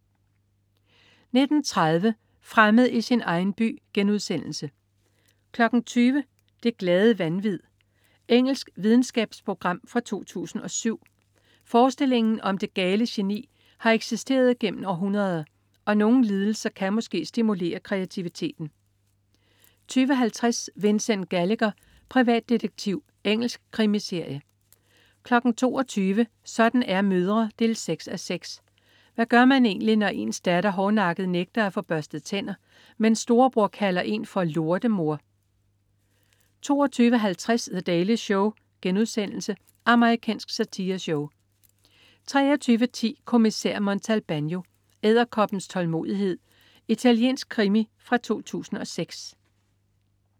19.30 Fremmed i sin egen by* 20.00 Det glade vanvid. Engelsk videnskabsprogram fra 2007. Forestillingen om det "gale geni" har eksisteret gennem århundreder, og nogle lidelser kan måske stimulere kreativiteten 20.50 Vincent Gallagher, privatdetektiv. Engelsk krimiserie 22.00 Sådan er mødre 6:6. Hvad gør man egentlig, når ens datter hårdnakket nægter at få børstet tænder, mens storebror kalder en for "lortemor"? 22.50 The Daily Show.* Amerikansk satireshow 23.10 Kommissær Montalbano: Edderkoppens tålmodighed. Italiensk krimi fra 2006